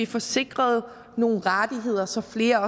få sikret nogle rettigheder så flere